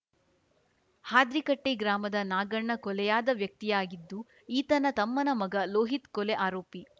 ಹಾದ್ರಿಕಟ್ಟೆಗ್ರಾಮದ ನಾಗಣ್ಣ ಕೊಲೆಯಾದ ವ್ಯಕ್ತಿಯಾಗಿದ್ದು ಈತನ ತಮ್ಮನ ಮಗ ಲೋಹಿತ್‌ ಕೊಲೆ ಆರೋಪಿ